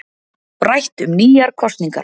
Rætt um nýjar kosningar